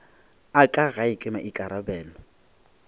a ka gae ke maikarabelo